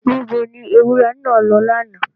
Níbo ni ewúrẹ́ náà lọ lánàá?